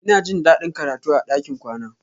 Ina jin daɗin karatu a ɗakin kwana.